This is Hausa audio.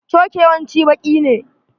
Coke yawanci baƙi ne.